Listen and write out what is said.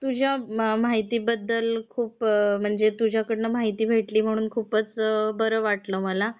तुझ्या माहितीबद्दल म्हणजे तुझ्याकडून माहिती भेटली म्ह्णून खूप बरं वाटलं मला.